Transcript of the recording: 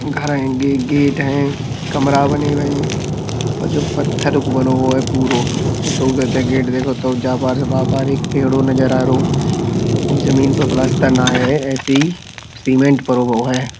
घर हैं गे गेट हैं। कमरा बने हुए हैं और जो पत्थर को बनो हो पुरो । जमीन पे पलस्तर ना है ऐसे ही सीमेंट परो हुओ है।